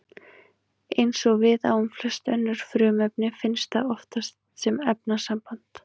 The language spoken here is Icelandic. Eins og við á um flest önnur frumefni finnst það oftast sem efnasamband.